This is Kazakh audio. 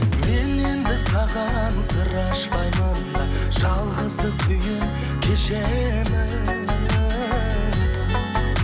мен енді саған сыр ашпаймын да жалғыздық күйін кешемін